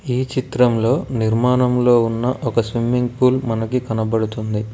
ఈ చిత్రంలో నిర్మాణంలో ఉన్న ఒక స్విమ్మింగ్ పూల్ మనకీ కనబడుతుంది.